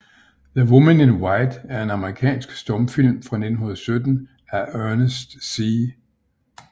The Woman in White er en amerikansk stumfilm fra 1917 af Ernest C